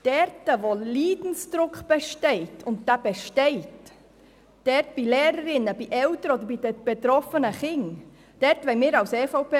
Dort, wo Leidensdruck besteht, wollen wir uns als EVP-Fraktion dafür einsetzen, dass die erwähnten pädagogischen Massnahmen aus dem Bericht umgesetzt werden können.